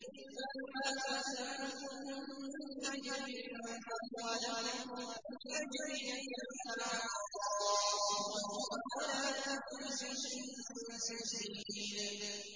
قُلْ مَا سَأَلْتُكُم مِّنْ أَجْرٍ فَهُوَ لَكُمْ ۖ إِنْ أَجْرِيَ إِلَّا عَلَى اللَّهِ ۖ وَهُوَ عَلَىٰ كُلِّ شَيْءٍ شَهِيدٌ